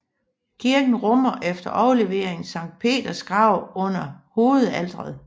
Kirken rummer efter overleveringen Sankt Peters grav under hovedaltret